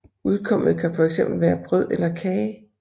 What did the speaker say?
Udkommet kan fx være brød eller kage